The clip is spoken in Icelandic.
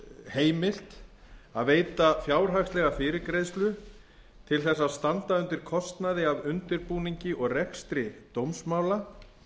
heimilt að veita fjárhagslega til þess að standa undir kostnaði af undirbúningi og rekstri dómsmála